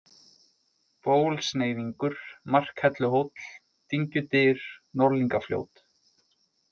Bólsneiðingur, Markhelluhóll, Dyngjudyr, Norðlingafljót